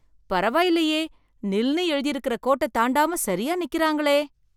பரவாயில்லையே! நில்னு எழுதியிருக்கற கோட்டைத் தாண்டாம சரியா நிக்குறாங்களே!